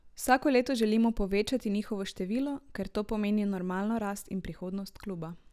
Vsako leto želimo povečati njihovo število, ker to pomeni normalno rast in prihodnost kluba.